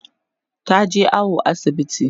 taje awo asibiti